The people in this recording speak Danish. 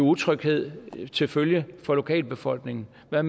utryghed til følge for lokalbefolkningen hvad